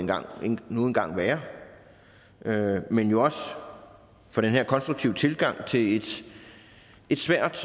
nu engang være men jo også for den her konstruktive tilgang til et svært